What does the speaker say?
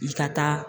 I ka taa